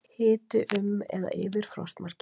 Hiti um eða yfir frostmarki